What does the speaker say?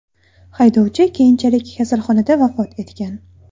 Haydovchi keyinchalik kasalxonada vafot etgan.